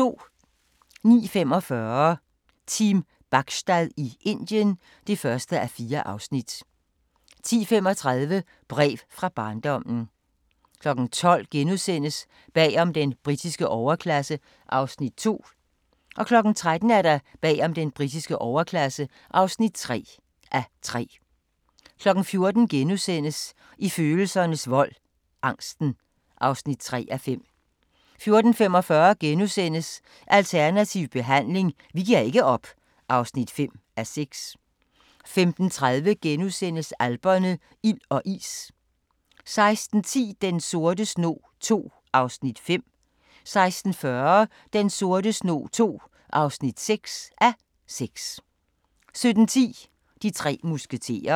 09:45: Team Bachstad i Indien (1:4) 10:35: Brev fra barndommen 12:00: Bag om den britiske overklasse (2:3)* 13:00: Bag om den britiske overklasse (3:3) 14:00: I følelsernes vold - angsten (3:5)* 14:45: Alternativ behandling – vi giver ikke op (5:6)* 15:30: Alperne – ild og is * 16:10: Den sorte snog II (5:6) 16:40: Den sorte snog II (6:6) 17:10: De tre musketerer